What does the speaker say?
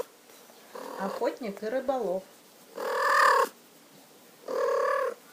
охотник и рыболов